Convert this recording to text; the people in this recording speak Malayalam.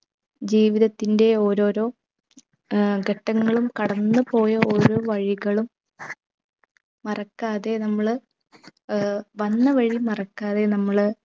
ജീവിതത്തിന്റെ ഓരോരോ ഏർ ഘട്ടങ്ങളും കടന്നു പോയ ഓരോ വഴികളും മറക്കാതെ നമ്മൾ ഏർ വന്ന വഴി മറക്കാതെ നമ്മള്